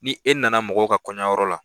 Ni e nana mɔgɔw ka kɔɲɔyɔrɔ la